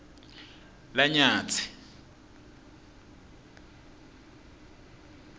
lanyatsi